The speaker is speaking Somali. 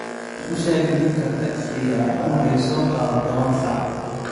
u sheeg ninka tagsiga ah inuu i soo qaado tawan sax